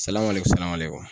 Salamale kun salamale kun